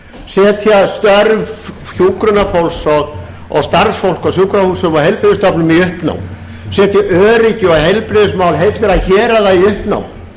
setja störf hjúkrunarfólks og starfsfólks á sjúkrahúsum og heilbrigðisstofnunum í uppnám setja öryggi og heilbrigðismál heilla héraða í uppnám